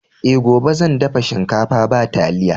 E, gobe zan dafa shinkafa ba taliya.